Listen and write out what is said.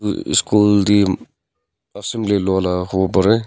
uhh skool teh assembly lia laga hobo pari.